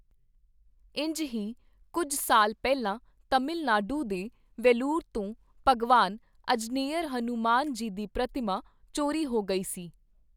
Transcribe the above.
ਇੰਝ ਹੀ ਕੁੱਝ ਸਾਲ ਪਹਿਲਾਂ ਤਮਿਲ ਨਾਡੂ ਦੇ ਵੈਲੂਰ ਤੋਂ ਭਗਵਾਨ ਅਜਨੇੱਯਰ, ਹਨੂੰਮਾਨ ਜੀ ਦੀ ਪ੍ਰਤਿਮਾ ਚੋਰੀ ਹੋ ਗਈ ਸੀ।